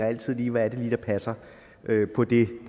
altid lige hvad det er der passer på det